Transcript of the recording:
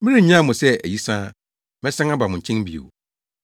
Merennyaw mo sɛ ayisaa; mɛsan aba mo nkyɛn bio.